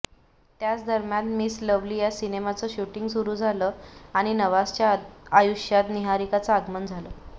त्याच दरम्यान Miss Lovely या सिनेमाचं शूटिंग सुरू झालं आणि नवाझच्या आयुष्यात निहारिकाचं आगमन झालं